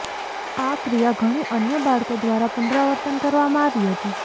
આ ક્રિયા ઘણી અન્ય બાળકો દ્વારા પુનરાવર્તન કરવામાં આવી હતી